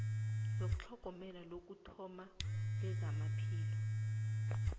yetlhogomelo lokuthoma lezamaphilo